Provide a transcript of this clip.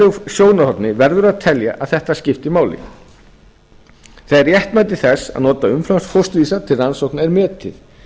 sjónarhorni verður að telja að þetta skipti máli þegar réttmæti þess að nota umframfósturvísa til rannsókna er metið